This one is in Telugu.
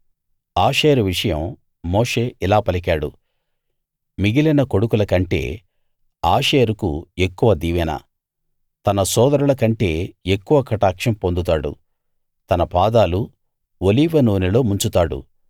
ఆషేరు విషయం మోషే ఇలా పలికాడు మిగిలిన కొడుకుల కంటే ఆషేరుకు ఎక్కువ దీవెన తన సోదరుల కంటే ఎక్కువ కటాక్షం పొందుతాడు తన పాదాలు ఒలీవ నూనెలో ముంచుతాడు